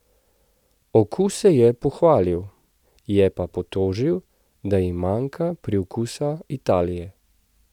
Okuse je pohvalil, je pa potožil, da jim manjka priokusa Italije.